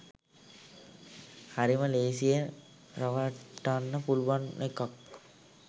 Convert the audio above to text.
හරිම ලේසියෙන් රවට්ටන්න පුළුවන් එකක්